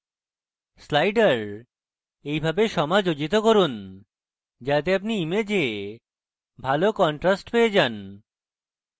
sliders এইভাবে সমাযোজিত করুন যাতে আপনি image ভালো contrast পেয়ে যান